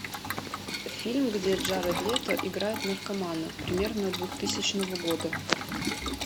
фильм где джаред лето играет наркомана примерно двухтысячного года